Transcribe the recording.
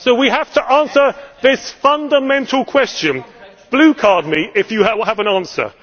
So we have to answer this fundamental question. Blue card me if you have an answer.